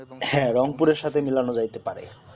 হ্যাঁ রংপুরের সাথে মিলানো যাইতে পারে